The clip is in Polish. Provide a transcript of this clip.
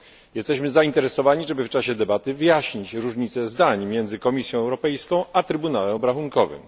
Jesteśmy zainteresowani, żeby w czasie debaty wyjaśnić różnice zdań między Komisją Europejską a Trybunałem Obrachunkowym.